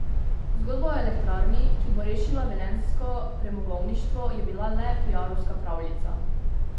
Zgodba o elektrarni, ki bo rešila velenjsko premogovništvo, je bila le piarovska pravljica.